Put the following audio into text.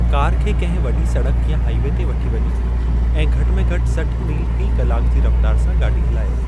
Car खे कंहिं वॾी सड़क या हाईवे ते वठी वञो ऐं घटि में घटि सठ मील फ़ी कलाक जी रफ़्तारु सां गाॾी हलायो।